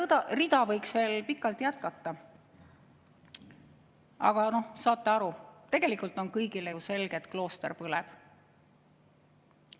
Seda rida võiks veel pikalt jätkata, aga saate aru, tegelikult on kõigile ju selge, et klooster põleb.